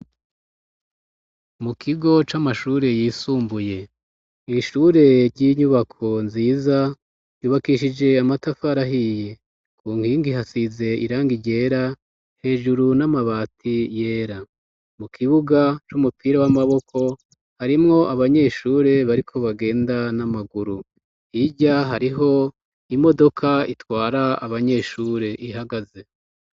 Mu kigo c'amashure yisumbuye; ishure ry'inyubako nziza yubakishije amatafari ahiye; ku nkingi ihasize irangi ryera, hejuru ni amabati yera . Mu kibuga c'umupira w'amaboko harimwo abanyeshure bariko bagenda n'amaguru. Hirya hariho imodoka itwara abanyeshure ihagaze.